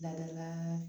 Dadala